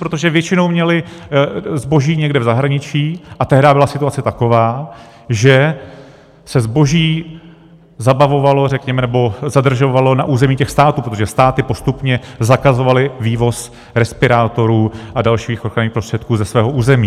Protože většinou měly zboží někde v zahraničí a tehdy byla situace taková, že se zboží zbavovalo, řekněme, nebo zadržovalo na území těch států, protože státy postupně zakazovaly vývoz respirátorů a dalších ochranných prostředků ze svého území.